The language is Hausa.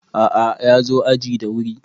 a`a ya zo aji da wuri